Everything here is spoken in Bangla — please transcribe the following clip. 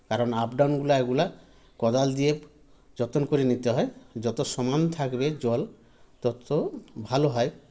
কারণ up down গুলা এগুলা কদাল দিয়ে যতন করে নিতে হয় যত সমান থাকবে জল তত ভালো হয়